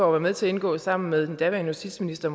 var med til at indgå sammen med den daværende justitsminister